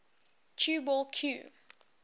cue ball cue